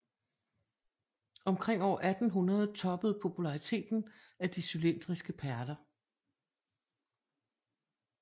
Omkring år 1800 toppede populariteten af de cylindriske perler